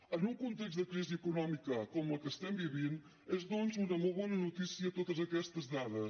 en un context de crisi econòmica com la que estem vivint és doncs una molt bona notícia totes aquestes dades